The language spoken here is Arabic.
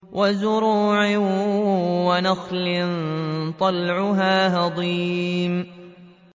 وَزُرُوعٍ وَنَخْلٍ طَلْعُهَا هَضِيمٌ